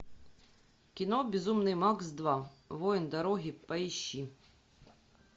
кино безумный макс два воин дороги поищи